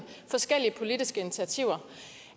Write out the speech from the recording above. forskellige politiske initiativer